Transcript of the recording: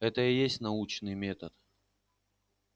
это и есть научный метод